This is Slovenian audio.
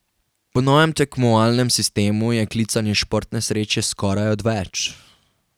Po novem tekmovalnem sistemu je klicanje športne sreče skoraj odveč.